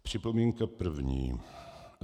Připomínka první.